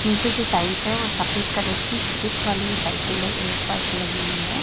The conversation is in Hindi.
नीचे जो टाइल्स है वो सफेद कलर की चेक वाली लाइटें अह फर्श लगी हुई है।